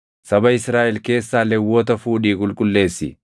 “Saba Israaʼel keessaa Lewwota fuudhii qulqulleessi.